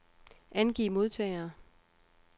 Angiv modtagere.